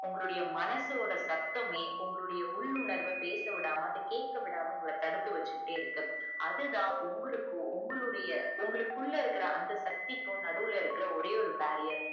உங்களோடைய மனசுஓட சட்டமே உங்களுடைய உள்உணர்வ பேசவிடாம கேக்கவிடாம அத தடுத்து வச்சிக்கிட்டே இருக்கு அதுதான் உங்களுக்கும் உங்களுடைய உங்களுக்குள்ள அந்த சக்திக்கும் நடுவுல இருக்குற ஒரே ஒரு barrier